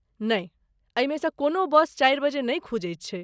नहि, एहिमे सँ कोनो बस चारि बजे नहि खुजैत छै।